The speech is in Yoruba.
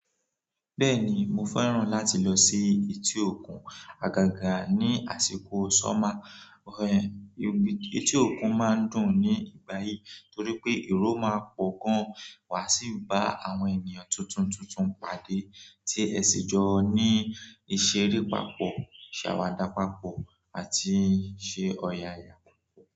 Bẹ́ẹ̀ni mo fẹ́ràn láti lọ sí etí òkun àgàgà ní àsìkò summer. Ẹ̀ etí òkun máa ń dùn nígbà yìí torí pé èrò máa pọ̀ gan wa sì bá àwọn ènìyàn tuntun tuntun pàdé tí ẹ sì jọ ní ìṣeré pàápọ̀, ìṣàwàdà pàápọ̀ àti ṣé ọ̀yàyà.